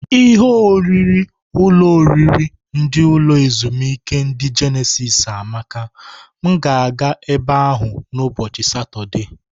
Ihe oriri ulo oriri ndi ulo ezimuike ndi Jenesis amaka m ga aga ebe ahu na ubochi satode.